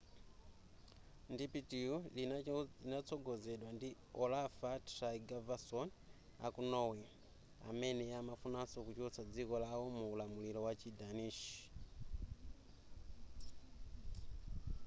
ndipitiyu linatsogozedwa ndi a olaf trygvasson aku norway amene amafunanso kuchotsa dziko lao mu ulamulilo wa chi danish